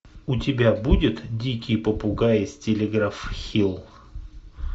у тебя будет дикие попугаи с телеграф хилл